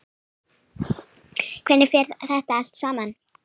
Hvernig fer þetta allt saman?